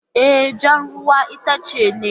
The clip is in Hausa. E, jan ruwan itace ne